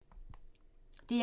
DR2